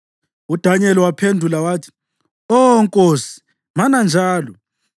UDanyeli waphendula wathi, “Oh nkosi, mana njalo!